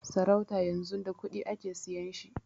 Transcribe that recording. Sarauta yanzun da kuɗi ake siyan shi